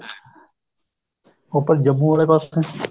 ਉੱਪਰ ਜੰਮੂ ਆਲੇ ਪਾਸੇ